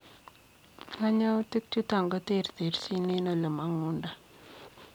Kanyautik chutok koterterchiin eng olemangundoi.